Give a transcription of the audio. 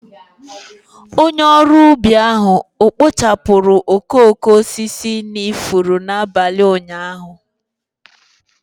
Onye ọrụ ubi ahụ ọ̀ kpachapụrụ okooko osisi n'ifuru n'abalị ụnyaahụ?